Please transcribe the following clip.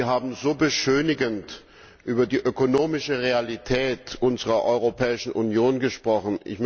Sie haben so beschönigend über die ökonomische Realität unserer Europäischen Union gesprochen.